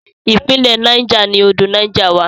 Ìpínlẹ̀ Niger ni odò Niger wà.